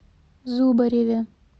зубареве